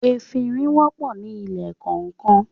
“efinrin” wọ̀pọ̀ ní ilé kọọkan.